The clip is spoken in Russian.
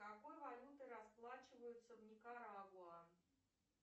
какой валютой расплачиваются в никарагуа